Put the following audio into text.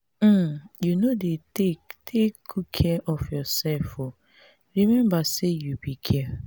um you no dey take take good care of yourself oo remember say you be girl